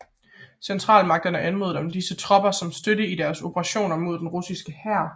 Centralmagterne anmodede om disse tropper som støtte i deres operationer mod den russiske hær